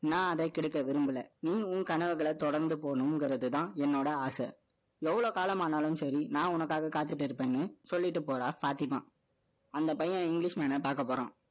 நான் அதை கெடுக்க விரும்பல. நீ உன் கனவுகளை தொடர்ந்து போகணுங்கிறதுதான், என்னோட ஆசை. எவ்வளவு காலமானாலும் சரி, நான் உனக்காக காத்துட்டு இருப்பேன்னு, சொல்லிட்டு போறா, பாத்திமா. அந்த பையன், English man அ பார்க்க போறான்.